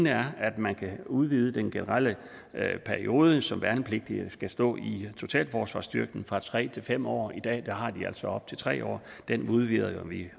er at man kan udvide den generelle periode som værnepligtige skal stå i totalforsvarsstyrken fra tre til fem år i dag har de altså op til tre år det udvider vi